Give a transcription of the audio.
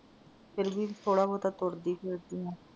ਫਿਰ ਵੀ ਥੋੜਾ ਬਹੁਤਾ ਤੁਰਦੀ ਫਿਰਦੀ ਆਂ।